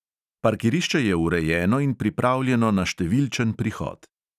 Parkirišče je urejeno in pripravljeno na številčen prihod.